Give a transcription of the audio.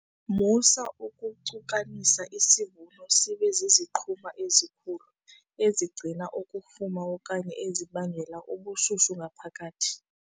Musa ukucukanisa isivuno sibe ziziqhuma ezikhulu ezigcina ukufuma okanye ezibangela ubushushu ngaphakathi.